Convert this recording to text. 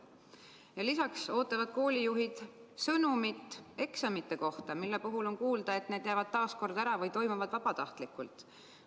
Lisaks ootavad koolijuhid sõnumit eksamite kohta – on kuulda, et need jäävad taas ära või toimuvad vabatahtlikult.